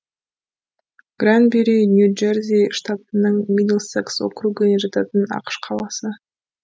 гранбюри нью джерси штатының мидлсекс округі жататын ақш қаласы